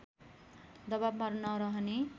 दवाबमा नरहने